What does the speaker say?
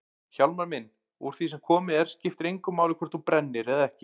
Hjálmar minn, úr því sem komið er skiptir engu máli hvort þú brennir eða ekki.